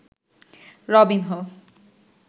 Robinho